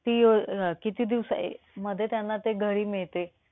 ती अं किती दिवसा अं मध्ये त्यांना ते घरी मिळते?